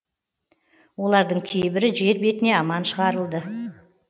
олардың кейбірі жер бетіне аман шығарылды